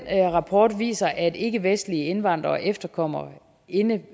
rapport viser at ikkevestlige indvandrere og efterkommere indebærer